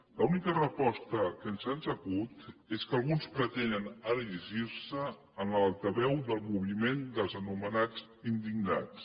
l’única resposta que se’ns acut és que alguns pretenen erigir se en l’altaveu del moviment dels anomenats indignats